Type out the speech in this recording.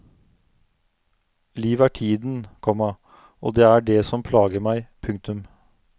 Livet er tiden, komma og det er det som plager meg. punktum